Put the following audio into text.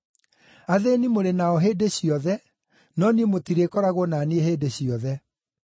Athĩĩni mũrĩ nao hĩndĩ ciothe, no niĩ mũtirĩkoragwo na niĩ hĩndĩ ciothe.”